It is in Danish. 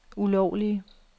ulovlige